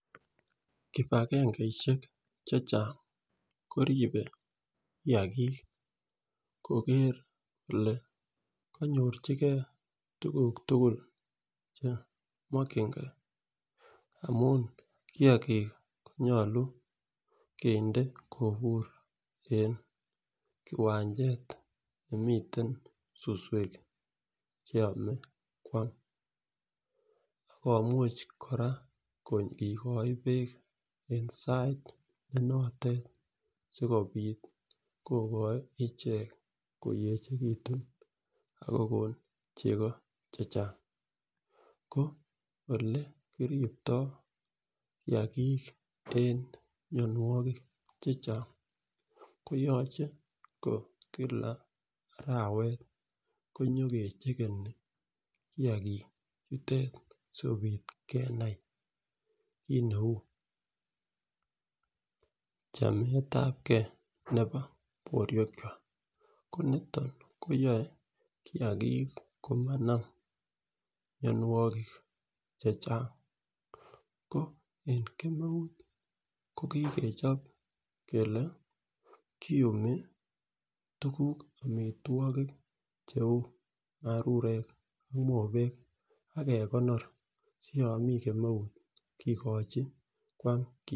Kipagengeishek chechang koribe kiyagik kogeer kole konyochigee tukuk tukul chemokingee amun kiyagik konyolu kinde kiwanchet nemiten suswek cheime kwak ak komuche koraa kor kogoe beek en sait ne notet sikopit kokoito ichek koyechekitun ak kokon cheko chechang. Ko ole kiriptoo kiyagik en mionwokik chechang koyoche ko Kila arawet konyokechekeni kiyagik chutet sikopit kenai kit neu chemetapgee nebo borwek kwak , ko niton koyoen kiyagik komanam mionwek chechang ko en kemeut ko kikechop kele kiyumi tukuk cheu marurek ak mobek akekonor siyon mii kemeut kokochi kwam.